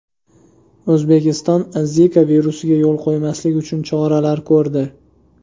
O‘zbekiston Zika virusiga yo‘l qo‘ymaslik bo‘yicha choralar ko‘rdi .